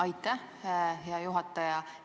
Aitäh, hea juhataja!